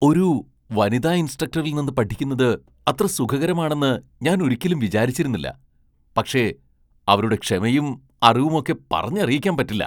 ഒരു വനിതാ ഇൻസ്ട്രക്ടറിൽ നിന്ന് പഠിക്കുന്നത് അത്ര സുഖകരമാണെന്ന് ഞാൻ ഒരിക്കലും വിചാരിച്ചിരുന്നില്ല, പക്ഷേ അവരുടെ ക്ഷമയും അറിവുമൊക്കെ പറഞ്ഞറിയിക്കാൻ പറ്റില്ല.